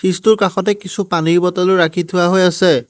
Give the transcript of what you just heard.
Fridge টোৰ কাষতে কিছু পানীৰ বটলো ৰাখি থোৱা হৈ আছে।